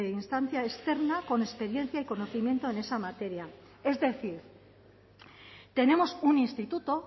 instancia externa con experiencia y conocimiento en esa materia es decir tenemos un instituto